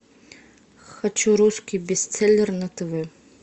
хочу русский бестселлер на тв